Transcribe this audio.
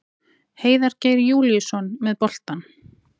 Heiðar Geir Júlíusson með boltann.